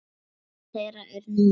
Tími þeirra er nú.